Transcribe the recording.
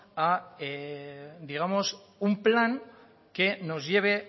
a un plan que nos lleve